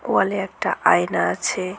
ওয়াল -এ একটা আয়না আছে।